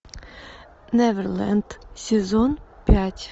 неверленд сезон пять